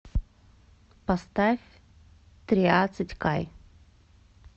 поставь триадцать кай